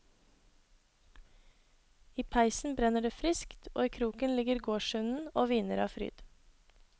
I peisen brenner det friskt, og i kroken ligger gårdshunden og hviner av fryd.